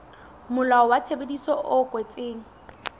molao wa tshebedisano e kwetsweng